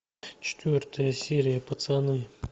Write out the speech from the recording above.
четвертая серия пацаны